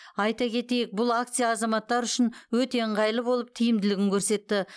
айта кетейік бұл акция азаматтар үшін өте ыңғайлы болып тиімділігін көрсетті